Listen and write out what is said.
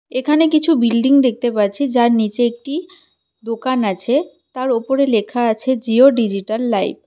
এখানে কিছু বিল্ডিং দেখতে পাচ্ছি যার নীচে একটি দোকান আছে তার ওপরে লেখা আছে জিও ডিজিটাল লাইফ ।